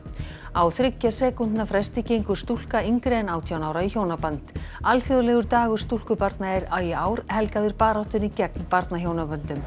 á þriggja sekúndna fresti gengur stúlka yngri en átján ára í hjónaband alþjóðlegur dagur stúlkubarna er í ár helgaður baráttunni gegn